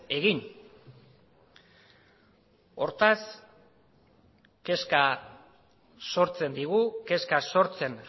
egin hortaz kezka sortzen digu kezka sortzen